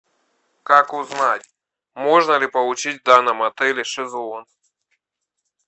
как узнать можно ли получить в данном отеле шезлонг